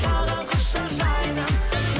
саған құшақ жайдым